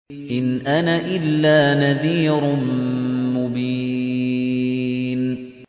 إِنْ أَنَا إِلَّا نَذِيرٌ مُّبِينٌ